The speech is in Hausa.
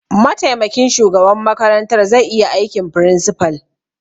Mataimakin shugaban makarantar zai iya aikin principal.